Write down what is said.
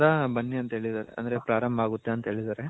ಬನ್ನಿ ಅಂತ ಹೇಳಿದರೆ ಅಂದ್ರೆ ಪ್ರಾರಂಬ ಆಗುತ್ತೆ ಅಂತ ಹೇಳಿದರೆ .